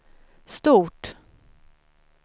stort